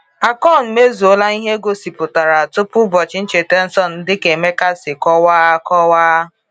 Akon mezuola ihe e gosipụtara tupu ụbọchị ncheta nsọ dịka Emeka si kọwaa. kọwaa.